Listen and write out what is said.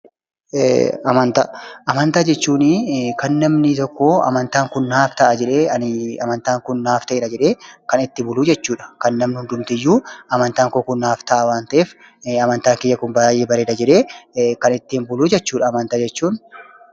Amantaa, Amantaa jechuuni kan namni tokko amantaan kun naaf ta'a jedhee, amantàan kun naaf ta'eera jedhee kan itti buluu jechuudha. Kan namni hundumtiyyuu amantaan kun naaf ta'a waan ta'eef, amantaan kiyya kun baayyee bareeda jedhee kan ittiin buluu jechuudha amantaa jechuun.